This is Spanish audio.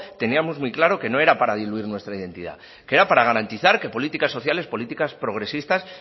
teníamos muy claro que no era para diluir nuestra identidad que era para garantizar que políticas sociales políticas progresistas